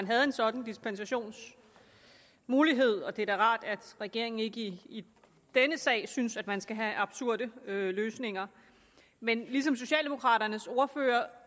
havde en sådan dispensationsmulighed og det er da rart at regeringen ikke i denne sag synes at man skal have absurde løsninger men ligesom socialdemokraternes ordfører